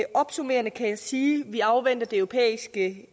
opsummerende kan jeg sige at vi afventer det europæiske